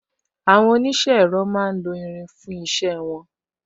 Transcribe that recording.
Àwọn onise ẹ̀rọ máa ń lo irin fún isẹ won